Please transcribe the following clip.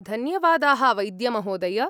धन्यवादाः, वैद्यमहोदय।